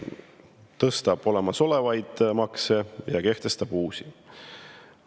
Tõstab olemasolevaid makse ja kehtestab uusi.